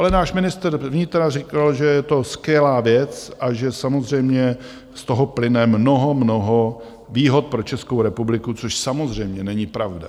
Ale náš ministr vnitra řekl, že je to skvělá věc a že samozřejmě z toho plyne mnoho, mnoho výhod pro Českou republiku, což samozřejmě není pravda.